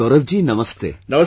Gaurav ji Namaste